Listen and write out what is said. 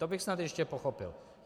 To bych snad ještě pochopil.